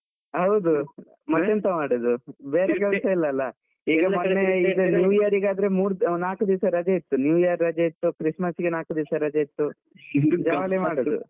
ಹೌದು, ಮತ್ತೆಂತ ಮಾಡುದು ಬೇರೆ ಕೆಲ್ಸ ಇಲ್ಲ ಅಲ New Year ಗೆ ಆದ್ರೆ ಮೂರೂ ನಾಕು ದಿನ ರಜೆ ಇತ್ತು, New Year ರಜೆ ಇತ್ತು, Christmas ಗೆ ನಾಲ್ಕು ದಿವ್ಸ ರಜೆ ಇತ್ತು, jolly ಮಾಡುದು.